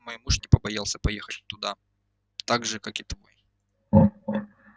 мой муж не побоялся поехать туда так же как и твой